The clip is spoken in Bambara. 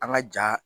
An ka ja